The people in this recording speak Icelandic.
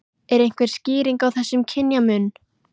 Er einhver skýring á þessum kynjamun?